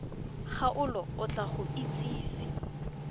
kgaolo o tla go itsise